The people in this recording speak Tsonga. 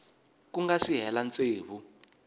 ku nga si hela tsevu